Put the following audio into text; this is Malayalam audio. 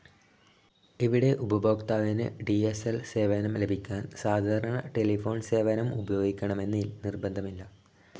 ഇവിടെ ഉപഭോക്താവിന് ഡി സ്‌ ൽ സേവനം ലഭിക്കാൻ സാധാരണ ടെലിഫോൺ സേവനം ഉപയോഗിക്കണമെന്ന് നിർബദ്ധമില്ല..